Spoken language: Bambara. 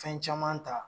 Fɛn caman ta